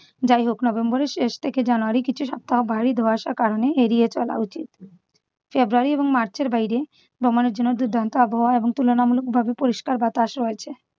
যাই হোক november এর শেষ থেকে january র কিছু সপ্তাহ ভারী ধোঁয়াশার কারণে এড়িয়ে চলা উচিত। february এবং march এর বাইরে ভ্রমণের জন্য দুর্দান্ত আবহাওয়া এবার তুলনামূলকভাবে পরিষ্কার বাতাস রয়েছে।